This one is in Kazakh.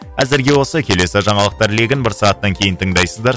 әзірге осы келесі жаңалықтар легін бір сағаттан кейін тыңдайсыздар